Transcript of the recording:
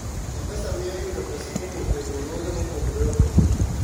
m-pesa miyo yudo pesa kowuok e riwruoge mopogore opogore